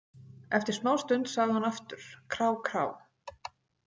Eftir smástund sagði hún aftur: Krá- krá.